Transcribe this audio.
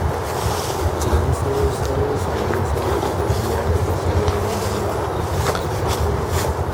Na sayo sabon sange saboda kariya daga sauron bana masu cutarwa